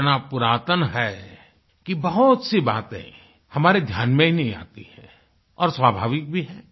इतना पुरातन है कि बहुत सी बातें हमारे ध्यान में ही नहीं आती हैं और स्वाभाविक भी है